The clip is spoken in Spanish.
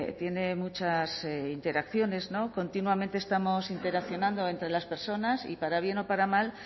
tiene muchas interacciones continuamente estamos interaccionando entre las personas y para bien o para mal